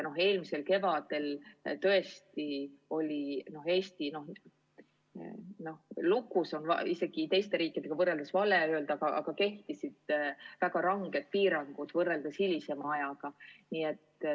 Eelmisel kevadel tõesti oli Eesti, no "lukus" on teiste riikidega võrreldes vale öelda, aga kehtisid väga ranged piirangud võrreldes hilisema ajaga.